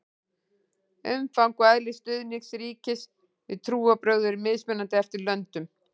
umfang og eðli stuðnings ríkis við trúarbrögð eru mismunandi eftir löndum